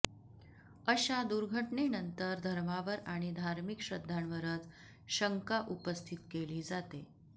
अशा दुर्घटनेनंतर धर्मावर आणि धार्मिक श्रद्धांवरच शंका उपस्थित केली जाते